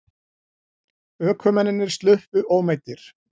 Ökumennirnir sluppu ómeiddir